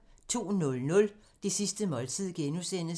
02:00: Det sidste måltid (G)